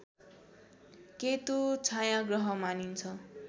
केतु छायाँग्रह मानिन्छ